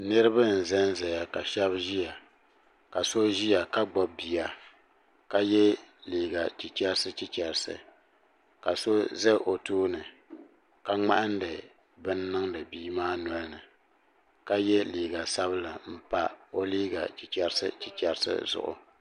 Niriba n zan zaya ka shɛbi ʒia ka so ʒia ka so ziya ka gbubi bia ka yɛ liga chicherisi chicherisi ka so za o too ni ka ŋmahindi bini niŋdi bia maa nolini ka ye loga sabila n pa o liga chicherisi chicherisi zuɣu.